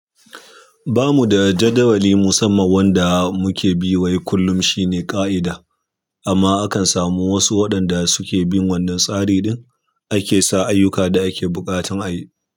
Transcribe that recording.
Ba mu da jadawali musamman wanda muke bi wai kullum shine ka'ida amma akan samu wasu waɗanda suke bin wannan tsari ɗin da ke sa ayyuka da ake bukatan ayi.